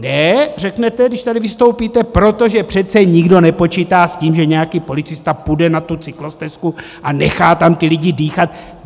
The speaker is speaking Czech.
Ne, řeknete, když tady vystoupíte, protože přece nikdo nepočítá s tím, že nějaký policista půjde na tu cyklostezku a nechá tam ty lidi dýchat.